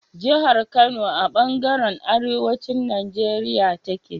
Jahar Kano a banjaran arewacin Nigeria take